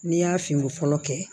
N'i y'a fini fɔlɔ kɛ